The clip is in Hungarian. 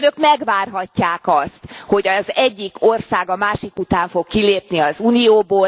Önök megvárhatják azt, hogy az egyik ország a másik után fog kilépni az Unióból.